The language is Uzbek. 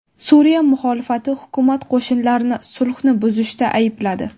Suriya muxolifati hukumat qo‘shinlarini sulhni buzishda aybladi.